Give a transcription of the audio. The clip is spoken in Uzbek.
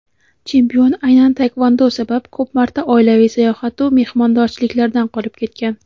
chempion aynan taekvondo sabab ko‘p marta oilaviy sayohat-u mehmondorchiliklardan qolib ketgan.